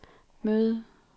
møde